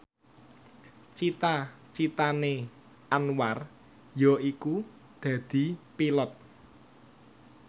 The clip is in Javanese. cita citane Anwar yaiku dadi Pilot